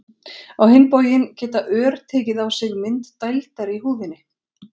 á hinn bóginn geta ör tekið á sig mynd dældar í húðinni